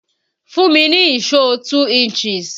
Fún mi ní ìṣó 2 inches!